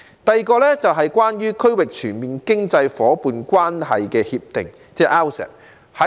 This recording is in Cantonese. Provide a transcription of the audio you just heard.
第二，關於《區域全面經濟伙伴關係協定》，即 RCEP。